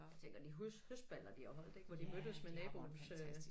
Ja tænker de høstballer de har holdt ik hvor de mødtes med naboens øh